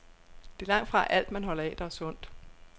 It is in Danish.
Det er langtfra alt, man holder af, der er sundt.